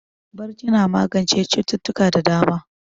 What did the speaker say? Barci na magance cututtuka da dama.